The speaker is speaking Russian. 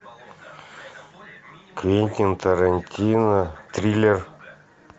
квентин тарантино триллер